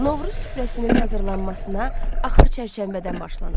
Novruz süfrəsinin hazırlanmasına axır çərşənbədən başlanır.